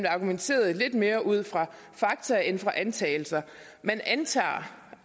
argumenteret lidt mere ud fra fakta end fra antagelser man antager